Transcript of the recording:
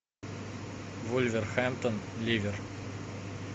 вулверхэмптон ливер